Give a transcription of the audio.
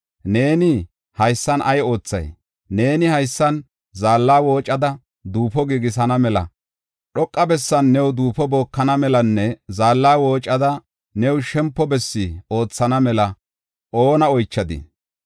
Neeni haysan ay oothay? Neeni haysan, zaalla woocada duufo giigisana mela, dhoqa bessan new duufo bookana melanne zaalla woocada new shempo bessi oothana mela oona oychadii?